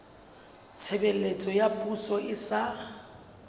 tshebeletso ya poso e sa